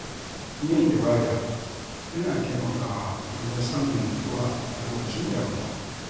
Yin ibada yana taimakawa wajen samun nutsuwa a lokacin damuwa.